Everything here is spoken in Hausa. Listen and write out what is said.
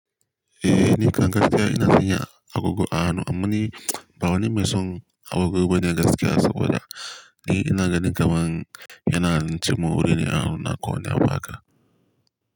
Eh ni kan gaskiya ina sanya agogo a hannu amma ni ba wani mai son agogo bane gaskiya saboda ni ina ganin kaman yana cin mun wurina a hannu na ko wanu abu haka.